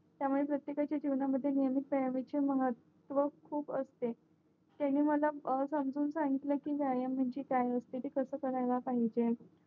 त्यामुळे प्रत्येकाच्या जीवनामध्ये नेहमीच महत्व खूप असते त्यानी मला समजून सांगितलेकी व्यायाम म्हणजे काय असते ते कसे कार्यला पाहिजे